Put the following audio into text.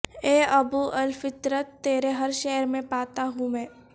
اے ابو الفطرت تیرے ہر شعر میں پاتا ہوں میں